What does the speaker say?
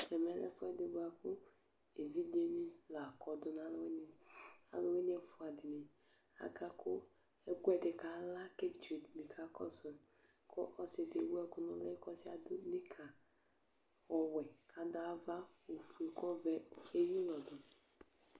ɛmɛ lɛ ɛfu ɛdi boa kò evidze ni la kɔ do no alo wini alo wini ɛfua di ni aka kò ɛkò ɛdini kala kò evidze di ni ka kɔsu kò ɔsi di ewu ɛkò no uli k'ɔdi yɛ adu nika ɔwɛ k'adu ava ofue k'ɔvɛ eya ulɔ do